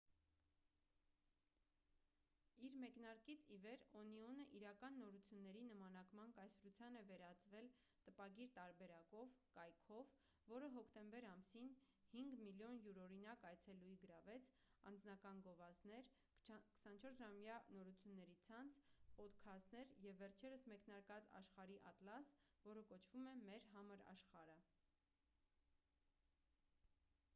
իր մեկնարկից ի վեր օնիոնը իրական նորությունների նմանակման կայսրության է վերածվել տպագիր տարբերակով կայքով որը հոկտեմբեր ամսին 5,000,000 յուրօրինակ այցելուի գրավեց անձնական գովազդներ 24-ժամյա նորությունների ցանց պոդքաստներ և վերջերս մեկնարկած աշխարհի ատլաս որը կոչվում է մեր համր աշխարհը։